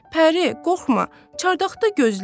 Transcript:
Pəri, qorxma, çardaqda gözlə.